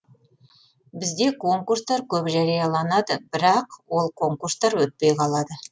бізде конкурстар көп жарияланады бірақ ол конкурстар өтпей қалады